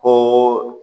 Ko